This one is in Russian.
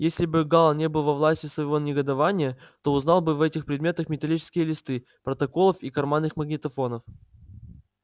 если бы гаал не был во власти своего негодования то узнал бы в этих предметах металлические листы протоколов и карманный магнитофон